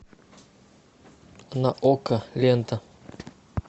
на окко лента